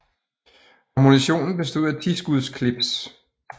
Ammunitionen bestod af 10 skuds clips